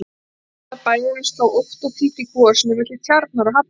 Hjarta bæjarins sló ótt og títt í kvosinni milli Tjarnar og hafnar.